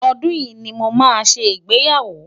ọdún yí ní mọ má sé ìgbéyàwó